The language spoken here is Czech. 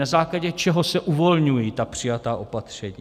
Na základě čeho se uvolňují ta přijatá opatření?